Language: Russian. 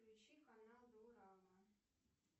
включи канал дорама